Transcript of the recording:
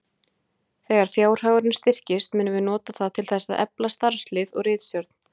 Þegar fjárhagurinn styrkist munum við nota það til þess að efla starfslið og ritstjórn.